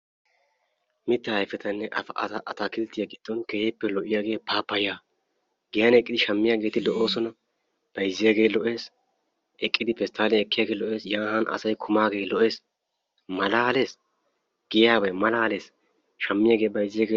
Mitta ayfetanne atakilttiya giddon keehippe lo'iyagee paappayyaa giyan eqqidi shammiyageeti lo'oosona bayzziyagee lo'es eqqidi pesttaaliyan ekkiyagee lo'es Yan han asayi kumaagee lo'es malaales giyaabayi malaales shammiyagee bayzziyagee......